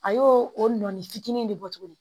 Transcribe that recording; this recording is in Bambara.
A y'o o nɔɔni fitinin in de bɔ tuguni